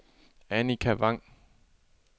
Annika Vang